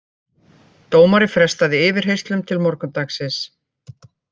Dómari frestaði yfirheyrslunum til morgundagsins